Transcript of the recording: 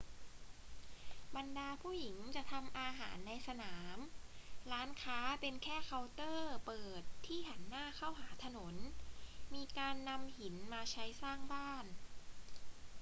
บรรดาผู้หญิงจะทำอาหารในสนาม ร้านค้าเป็นแค่เคาน์เตอร์เปิดที่หันหน้าเข้าหาถนน มีการนำหินมาใช้สร้างบ้าน